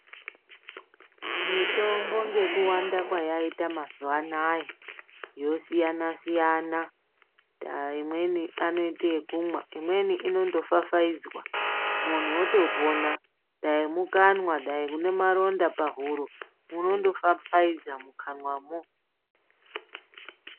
Mitombo ngekuwanda kwayaita mazuwa anaya yosiyana-siyana dai imweni ngeyekumwa imweni inofafaidzwa muntu wotopona dai mukanwa dai une maronda pahuro unondofafaidza mukanwamwo .